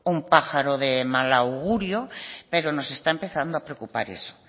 un pájaro de mal augurio pero nos está empezando a preocupar eso